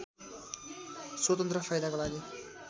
स्वतन्त्र फाइदाको लागि